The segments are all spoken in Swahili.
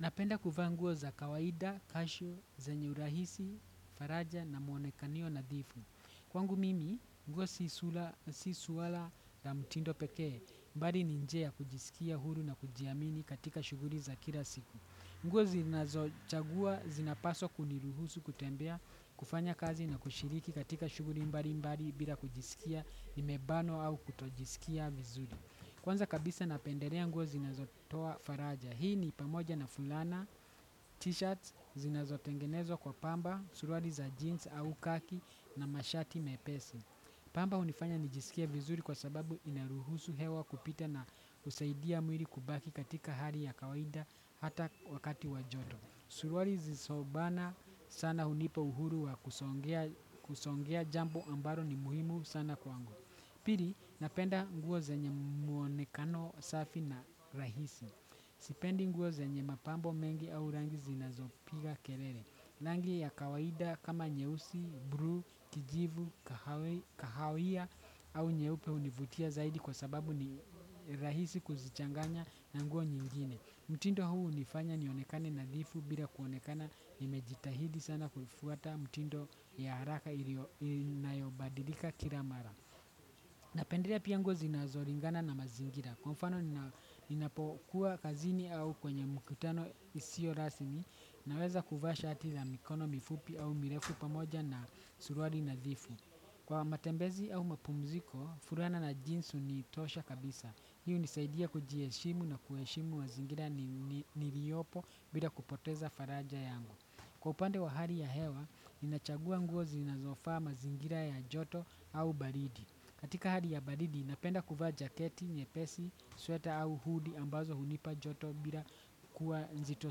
Napenda kuvaa nguo za kawaida, kashu, zenye urahisi, faraja na mwonekanio nadhifu. Kwangu mimi, nguo si suala na mtindo peke, bali ni njia ya kujisikia huru na kujiamini katika shughuli za kila siku. Nguo zinazochagua zinapaswa kuniruhusu kutembea kufanya kazi na kushiriki katika shughuli mbali mbali bila kujisikia nimebanwa au kutojisikia vizuri. Kwanza kabisa napendelea nguo zinazotoa faraja. Hii ni pamoja na fulana, t-shirts, zinazotengenezwa kwa pamba, suruali za jeans au khaki na mashati mepesi. Pamba hunifanya nijisikie vizuri kwa sababu inaruhusu hewa kupita na husaidia mwili kubaki katika hali ya kawaida hata wakati wa joto. Suruali zisizobana sana hunipa uhuru wa kusongea jambo ambalo ni muhimu sana kwangu. Pili napenda nguo zenye mwonekano safi na rahisi. Sipendi nguo zenye mapambo mengi au rangi zinazopiga kelele. Rangi ya kawaida kama nyeusi, bluu, kijivu, kahawia au nyeupe hunivutia zaidi kwa sababu ni rahisi kuzichanganya na nguo nyingine. Mtindo huu hunifanya nionekane nadhifu bila kuonekana nimejitahidi sana kufuata mtindo ya haraka inayobadilika kila mara. Napendelea pia nguo zinazolingana na mazingira kwa mfano ninapokuwa kazini au kwenye mkutano isio rasmi naweza kuvaa shati la mikono mifupi au mirefu pamoja na suruali nadhifu. Kwa matembezi au mapumziko, fulana na jeans hunitosha kabisa. Hii hunisaidia kujiheshimu na kuheshimu mazingira niliopo bila kupoteza faraja yangu. Kwa upande wa hali ya hewa, ninachagua nguo zinazofaa mazingira ya joto au baridi. Katika hali ya baridi, napenda kuvaa jaketi, nyepesi, sweta au hudi ambazo hunipa joto bila kuwa nzito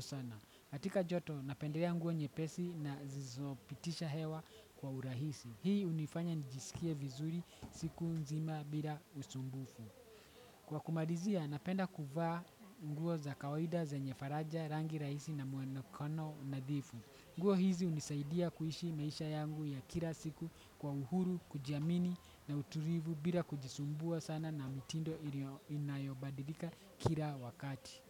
sana. Katika joto, napendelea nguo nyepesi na zizopitisha hewa kwa urahisi. Hii hunifanya nijisikie vizuri siku nzima bila usumbufu. Kwa kumalizia, napenda kuvaa nguo za kawaida zenye faraja rangi rahisi na mwonekano nadhifu. Nguo hizi hunisaidia kuishi maisha yangu ya kila siku kwa uhuru, kujiamini na utulivu bila kujisumbua sana na mtindo inayobadilika kila wakati.